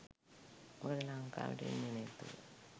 මොකද ලංකාවට එන්නේ නැතිව